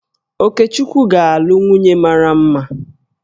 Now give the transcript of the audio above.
Okechukwu ga-alụ nwunye mara mma